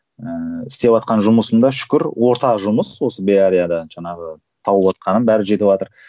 ііі істеватқан жұмысым да шүкір орта жұмыс осы беарияда жаңағы тауыватқаным бәрі жетіватыр